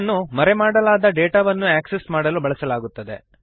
ಇದನ್ನು ಮರೆಮಾಡಲಾದ ಹಿಡನ್ ಡೇಟಾವನ್ನು ಆಕ್ಸೆಸ್ ಮಾಡಲು ಬಳಸಲಾಗುತ್ತದೆ